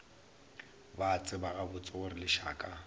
ba tseba gabotse gore lešaka